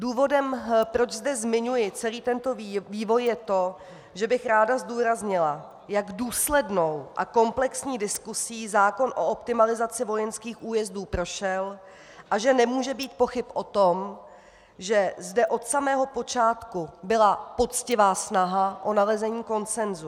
Důvodem, proč zde zmiňuji celý tento vývoj, je to, že bych ráda zdůraznila, jak důslednou a komplexní diskusí zákon o optimalizaci vojenských újezdů prošel a že nemůže být pochyb o tom, že zde od samého počátku byla poctivá snaha o nalezení konsensu.